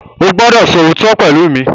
O gbọdọ so ootọ pẹlú mí!